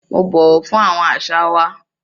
Mo bọwọ fun awọn aṣa wa.